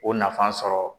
O nafan sɔrɔ